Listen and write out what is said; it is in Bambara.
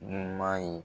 Ɲuman ye